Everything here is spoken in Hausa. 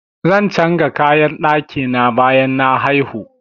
Zan changa kayan ɗaki na bayan na haihu.